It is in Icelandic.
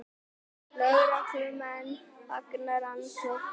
Lögreglumenn fagna rannsókn